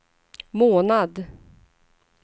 månad